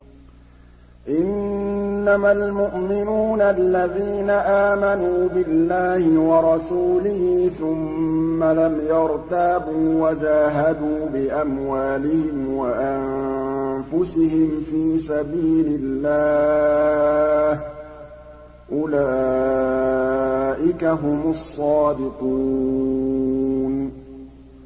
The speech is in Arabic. إِنَّمَا الْمُؤْمِنُونَ الَّذِينَ آمَنُوا بِاللَّهِ وَرَسُولِهِ ثُمَّ لَمْ يَرْتَابُوا وَجَاهَدُوا بِأَمْوَالِهِمْ وَأَنفُسِهِمْ فِي سَبِيلِ اللَّهِ ۚ أُولَٰئِكَ هُمُ الصَّادِقُونَ